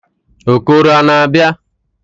Okoro a na-abia?